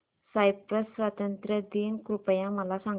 Cyprus स्वातंत्र्य दिन कृपया मला सांगा